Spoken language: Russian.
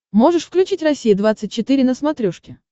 можешь включить россия двадцать четыре на смотрешке